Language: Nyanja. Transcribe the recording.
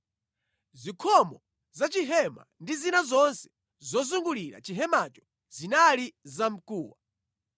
Zikhomo za chihema ndi zina zonse zozungulira chihemacho zinali zamkuwa.